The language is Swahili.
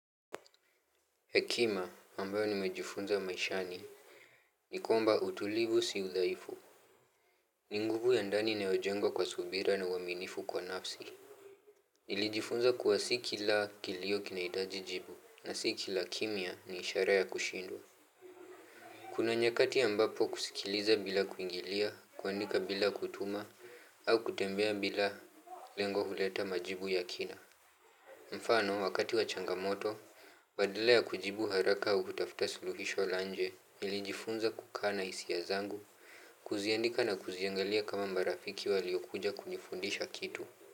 Hekima ambayo nimejifunza maishani ni kwmba utulivu si udhaifu. Ni nguvu ya ndani inayojengwa kwa subira na uaminifu kwa nafsi. Nilijifunza kuwa si kila kilio kinaitaji jibu na si kila kimya ni ishara ya kushindwa. Kuna nyakati ambapo kusikiliza bila kuingilia kuandika bila kutuma au kutembea bila lengo huleta majibu ya kina. Mfano wakati wa changamoto badala ya kujibu haraka uhutafta suluhisho la nje nilijifunza kukaa na hisia zangu kuziandika na kuziangalia kama marafiki waliokuja kunifundisha kitu.